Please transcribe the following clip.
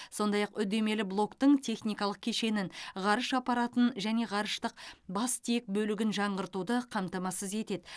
сондай ақ үдемелі блоктың техникалық кешенін ғарыш аппаратын және ғарыштық бастиек бөлігін жаңғыртуды қамтамасыз етеді